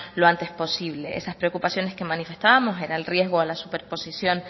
lo antes posible esas preocupaciones que manifestábamos era el riesgo a la superposición